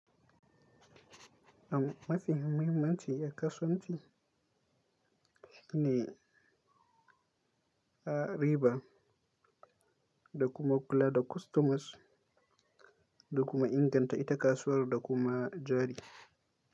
Ab mafi muhimmanci a kasuwanci shine a riba da kuma kula da kostomas da kuma inganta ita kasuwar da kuma jari.